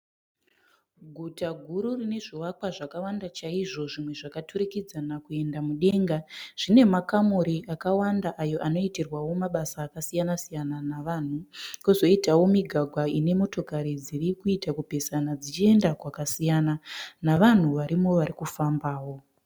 Guta guru rine zvivakwa zvakawanda chaizvo zvimwe zvakaturikudzana kuenda mudenga zvine makamuri akawanda ayo anoitirwa mabasa akasiyana -siyana nevanhu, kozoitawo mugwagwa ine motokari dzirikuita kupesana dzichienda kwakasiyana. Navanhu varimo varikufambawo.